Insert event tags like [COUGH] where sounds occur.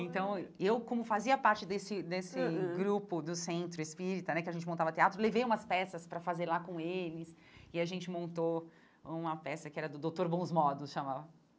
Então, eu, como fazia parte desse desse [UNINTELLIGIBLE] grupo do Centro Espírita né, que a gente montava teatro, levei umas peças para fazer lá com eles e a gente montou uma peça que era do Doutor Bons Modos, chamava.